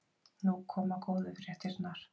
Nú koma góðu fréttirnar.